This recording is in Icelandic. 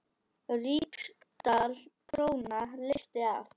Ríksdal króna leysti af.